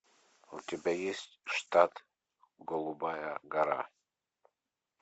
у тебя есть штат голубая гора